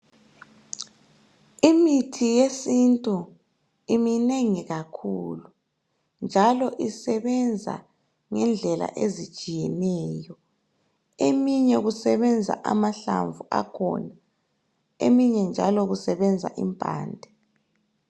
Imithi yesintu iminengi kakhulu njalo isebenza ngendlela ezitshiyeneyo, eminye kusebenza amahlamvu akhona eminye njalo kusebenza impande.